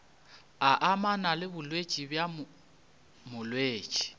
amana le bolwetši bja molwetši